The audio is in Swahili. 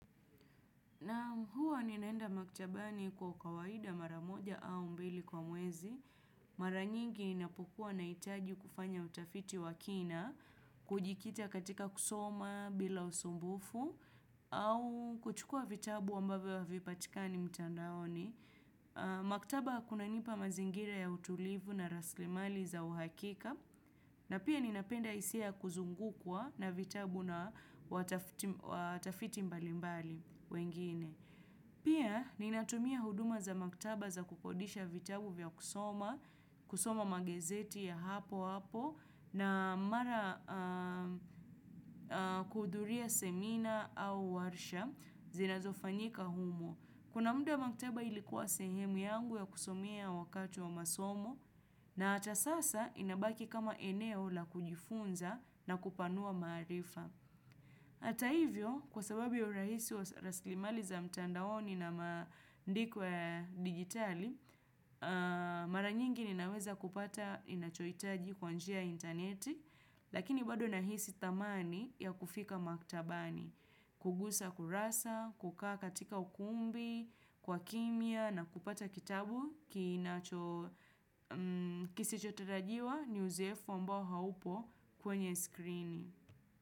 Naam huwa ninaenda maktabani kwa kawaida mara moja au mbili kwa mwezi. Mara nyingi inapokua na itaji kufanya utafiti wakina, kujikita katika kusoma bila usumbufu, au kuchukua vitabu ambavyo havipatikani mtandaoni. Maktaba kuna nipa mazingira ya utulivu na raslimali za uhakika, na pia ninapenda hisia ya kuzungukwa na vitabu na watafiti mbalimbali wengine. Pia ninatumia huduma za maktaba za kukodisha vitabu vya kusoma, kusoma magezeti ya hapo hapo na mara kuhuduria semina au warsha zinazofanyika humo. Kuna muda maktaba ilikuwa sehemu yangu ya kusomea wakati wa masomo na hata sasa inabaki kama eneo la kujifunza na kupanua maarifa. Hata hivyo, kwa sababu ya urahisi wa raslimali za mtandaoni na maandiko ya digitali, mara nyingi ninaweza kupata ninachoitaji kwanjia interneti, lakini bado nahisi thamani ya kufika maktabani, kugusa kurasa, kukaa katika ukumbi, kwa kimia na kupata kitabu kinacho kisichotarajiwa ni uzoefu ambao haupo kwenye screening.